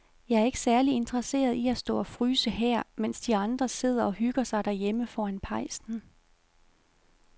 Jeg er ikke særlig interesseret i at stå og fryse her, mens de andre sidder og hygger sig derhjemme foran pejsen.